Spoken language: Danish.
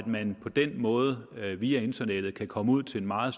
man på den måde via internettet kan komme ud til en meget